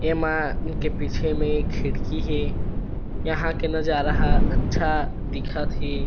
एमा इनके पीछे में एक खिड़की हे यहाँ के नजारा ह अच्छा दिखत हे।